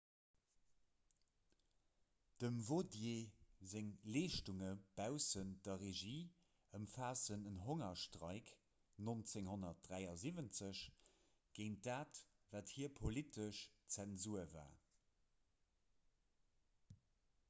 dem vautier seng leeschtunge baussent der regie ëmfaassen en hongerstreik 1973 géint dat wat fir hie politesch zensur war